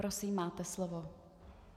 Prosím, máte slovo.